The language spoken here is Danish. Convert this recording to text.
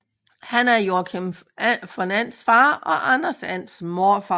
Han er Joakim von Ands far og Anders Ands morfar